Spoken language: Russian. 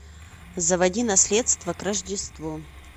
заводи наследство к рождеству